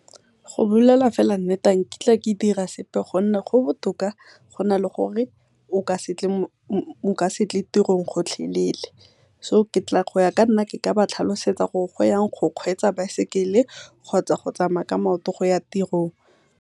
Go bolela fela nnete ga nkitla ke dira sepe, gonne go botoka go na le gore nka setle tirong gotlhelele. So goya kanna ke ka ba tlhalosetsa gore go yang go kgwetsa baesekele kgotsa go tsamaya ka maoto go ya tirong.